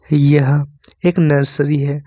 यह एक नर्सरी है।